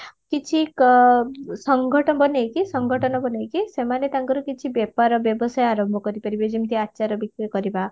କିଛି ସଙ୍ଗଠ ବନେଇକି ସଙ୍ଗଠନ ବନେଇକି ସେମାନେ ତାଙ୍କର କିଛି ବ୍ୟାପାର ବ୍ୟବସାୟ ଆରମ୍ଭ କରିପାରିବେ ଯେମିତି ଆଚାର ବିକ୍ରି କରିବା